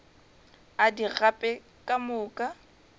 a di gape ka moka